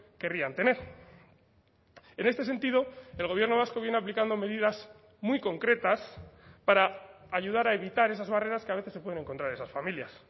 querrían tener en este sentido el gobierno vasco viene aplicando medidas muy concretas para ayudar a evitar esas barreras que a veces se pueden encontrar esas familias